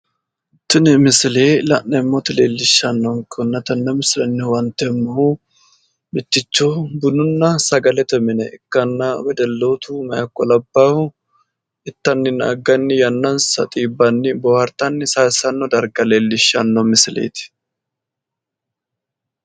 tini misile la'neemmoti leellishshannonkehunna tenne misilenni huwanteemmohu mitticho bununna sagalete mine ikkanna wedellootu meyaaha ikko labbahu ittanninna agganni yannansa xiibbanni boohaartanni yannansa sayiissanno darga leellishshanno misileeti?